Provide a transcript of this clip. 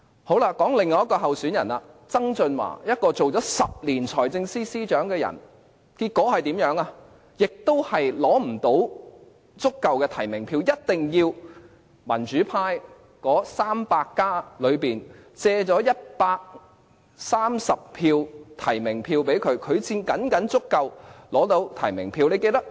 說說另一位候選人曾俊華，他曾擔任財政司司長10年，結果也無法取得足夠的提名票，一定要"民主 300+" 借出130張提名票，他才僅僅取得足夠提名票。